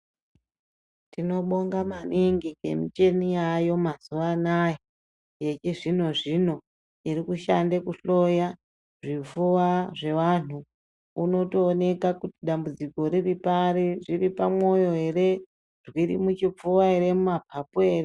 Tinobonga maningi ngemuchini yaayo mazuwa anaya yechizvino zvino irikushanda kuhloya zvifuwa zvevantu unotooneka kuti dambudziko riripari riripamoyo ere ,ririmuchifuwa, mumapapu ere.